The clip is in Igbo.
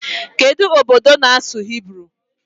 Kedụ obodo na-asụ Hibru?